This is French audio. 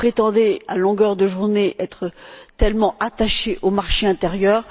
Vous prétendez, à longueur de journée, être tellement attachés au marché intérieur.